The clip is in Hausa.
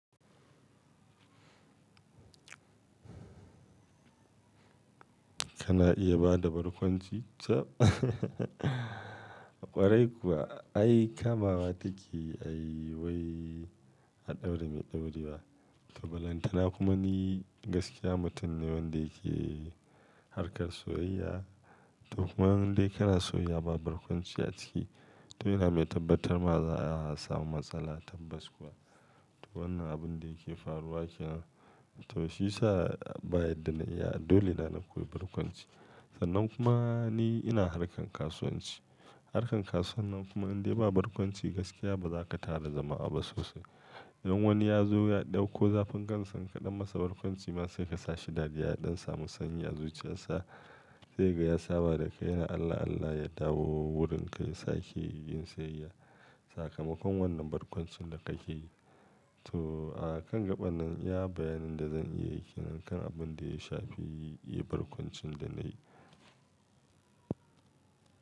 Kana iya bada barkwanci ta ƙwarai kuwa. Ai kamawa take ai wai a ɗaura mai ɗaure ba. To balantana kuma ni gaskiya mutum ne wanda yake harkar soyayya. To kuma wanda kana so ya ba barkwanci a ciki. To ina mai tabbatarwa za a samu matsala tabbas kuwa. To wannan abun da yake faruwa ke nan. To shi yasa baya daina iya dole na na koyi barkwanci. Sannan kuma ni ina harkar kasuwanci. Harkar kasuwa nan kuma in dai ba barkwanci gaskiya ba za ka tada jama'a ba sosai. In wani ya zo ya ɗauko zafin kan sa ka ɗan masa barkwanci ma sai ka sa shi dariya don samu sanyi a zuciyarsa. Sai ga yasa ba da kai na Allah Allah ya dawo wurin ka ya sa ke yin siyayya. Sakamakon wannan barkwancin da ka ke yi. To a kan gaɓan nan iya bayanin da zan iya yi ke nan kan abin da ya shafi yi barkwancin da na yi.